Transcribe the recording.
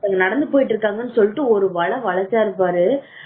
நடந்து போயிட்டு இருக்காங்கன்னு சொல்லிட்டு ஒரு வழச்சாரு பாரு